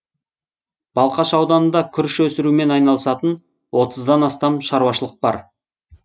балқаш ауданында күріш өсірумен айналысатын отыздан астам шаруашылық бар